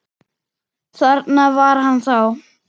Þarna var hann þá!